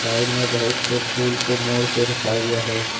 Side में बहुत से फूल को मोड़ के रखा गया है।